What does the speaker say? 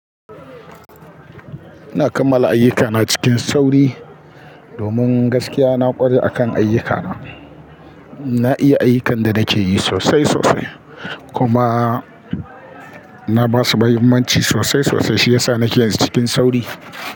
Ina kammala ayyukana cikin sauri domin gaskiya na ƙware akan ayyuka. Na iya ayyukan da nake yi sosai sosai kuma na ba su mahimmanci sosai sosai shi yasa nake yinsu cikin sauri.